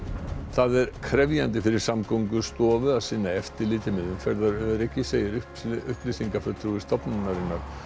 það er krefjandi fyrir Samgöngustofu að sinna eftirliti með umferðaröryggi segir upplýsingafulltrúi stofnunarinnar